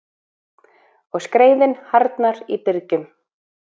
Og skreiðin harðnar í byrgjum.